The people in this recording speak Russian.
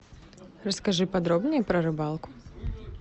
расскажи подробнее про рыбалку